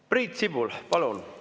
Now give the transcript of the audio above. Priit Sibul, palun!